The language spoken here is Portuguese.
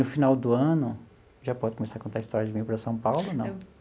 No final do ano... Já pode começar a contar a história de vim para São Paulo ou não?